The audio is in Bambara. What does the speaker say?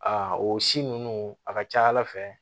Aa o si ninnu a ka ca ala fɛ